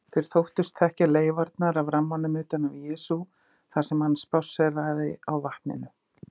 Þeir þóttust þekkja leifarnar af rammanum utan af Jesú þar sem hann spásséraði á vatninu.